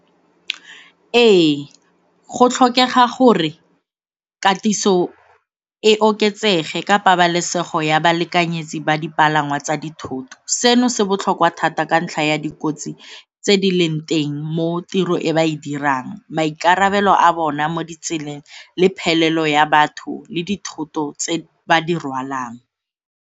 Ee, go tlhokega gore katiso e oketsege ka pabalesego ya balekanyetse ba dipalangwa tsa dithoto. Seno se botlhokwa thata ka ntlha ya dikotsi tse di leng teng mo tiro e ba e dirang, maikarabelo a bona mo ditseleng le phelelo ya batho le dithoto tse ba di rwalang.